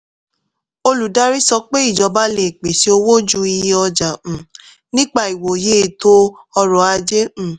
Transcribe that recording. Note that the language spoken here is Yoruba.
olùdarí sọ pé ìjọba lè pèsè owó ju iye ọjà um nípa ìwòye ètò ọrọ̀ ajé. um